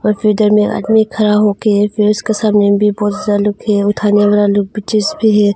और फिर उधर में आदमी खड़ा होके फ़िर उसके सामने है।